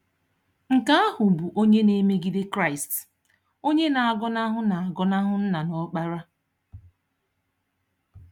Nke ahụ bụ onye na-emegide Kraịst, onye na-agọnahụ na-agọnahụ Nna na Ọkpara.